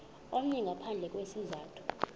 omnye ngaphandle kwesizathu